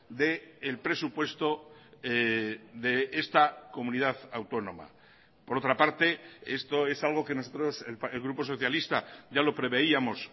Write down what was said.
del presupuesto de esta comunidad autónoma por otra parte esto es algo que nosotros el grupo socialista ya lo preveíamos